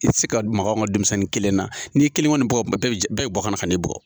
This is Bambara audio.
I ti se ka maka anw ka denmisɛnnin kelen na, n'i ye kelen kɔni bugɔ bɛɛ be bɔ ka na ka na e bugɔ.